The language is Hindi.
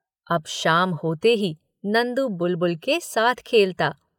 अब शाम होते ही नंदू बुलबुल के साथ खेलता।